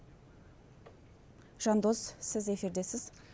жандос сіз эфирдесіз